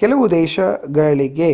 ಕೆಲವು ದೇಶಗಳಿಗೆ